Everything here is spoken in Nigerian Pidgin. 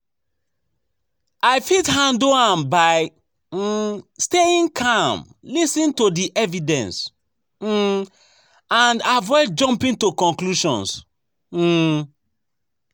I fit handle am by um staying calm, lis ten to di evidence um and avoid jumping to conclusions. um